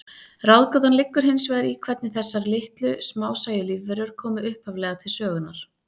Ráðgátan liggur hins vegar í hvernig þessar litlu, smásæju lífverur komu upphaflega til sögunnar.